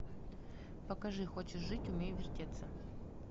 покажи хочешь жить умей вертеться